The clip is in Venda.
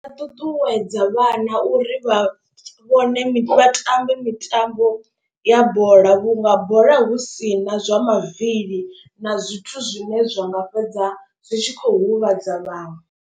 Vha ṱuṱuwedza vhana uri vha vhone vha tambe mitambo ya bola. Vhunga bola hu si na zwa mavili na zwithu zwine zwanga fhedza zwi tshi khou huvhadza vhaṅwe.